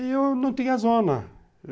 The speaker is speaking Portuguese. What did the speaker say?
E eu não tinha zona.